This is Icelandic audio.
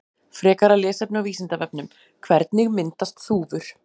Frekara lesefni á Vísindavefnum: Hvernig myndast þúfur?